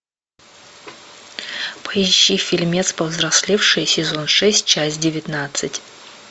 поищи фильмец повзрослевшие сезон шесть часть девятнадцать